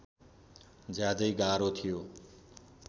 ज्यादै गाह्रो थियो